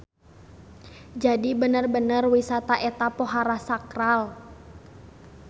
Jadi bener-bener wisata eta pohara sakral.